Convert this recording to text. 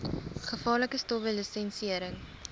gevaarlike stowwe lisensiëring